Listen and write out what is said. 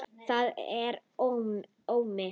Þetta var Ómi.